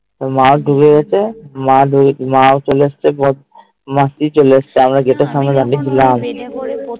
তো মা ঢুকে গাছে মা ও চলে এসেছে ঘর থেকে মাসি চলে এসেছে আমি তো